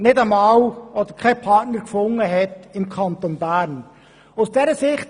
Es ist ausserordentlich bedauerlich, dass im Kanton Bern kein Partner gefunden wurde.